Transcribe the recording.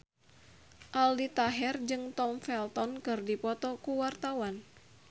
Aldi Taher jeung Tom Felton keur dipoto ku wartawan